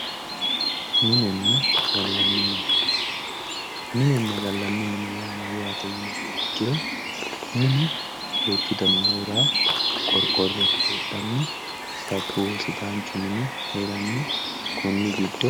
Minenna galani mine yaa mayate yiniha ikiro minu duuchuyihu heerano koriqoro sidaanchu sabuniho yine woshinani